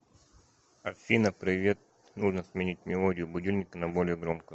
афина привет нужно сменить мелодию будильника на более громкую